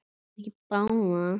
Nei, ekki báðar.